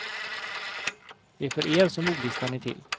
Det är för er som ordlistan är till.